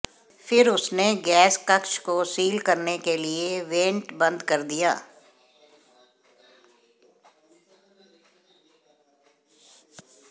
फिर उसने गैस कक्ष को सील करने के लिए वेंट बंद कर दिया